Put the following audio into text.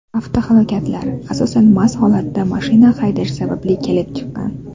Avtohalokatlar, asosan, mast holatda mashina haydash sababli kelib chiqqan.